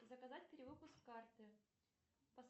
заказать перевыпуск карты